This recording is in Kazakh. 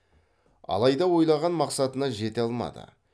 алайда ойлаған мақсатына жете алмады